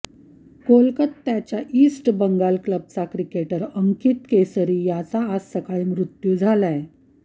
कोलकात्याच्या ईस्ट बंगाल क्लबचा क्रिकेटर अंकित केसरी याचा आज सकाळी मृत्यू झालाय